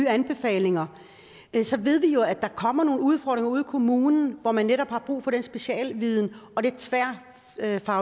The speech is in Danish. anbefalinger at der kommer nogle udfordringer ude i kommunerne hvor man netop har brug for den specialviden